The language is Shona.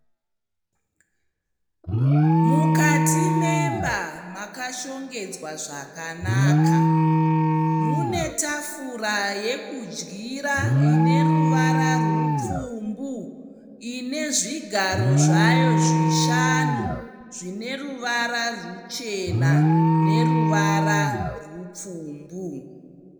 Mukati memba makashongedzwa zvakanaka. Mune tafura yokudyira ine ruvara rupfumbu ine zvigaro zvayo zvishanu zvine ruvara ruchena neruvara rupfumbu.